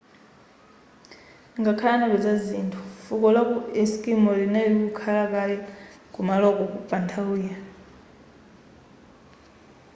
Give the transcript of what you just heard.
ngakhale anapeza zinthu fuko lachi eskimo linali likukhalakale kumaloko pa nthawiyo